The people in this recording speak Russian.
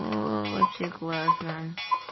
вообще классно